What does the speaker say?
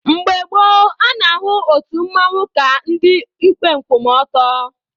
Mgbe gboo, a na-ahụ otu mmanwụ ka ndị ikpe nkwụmọtọ.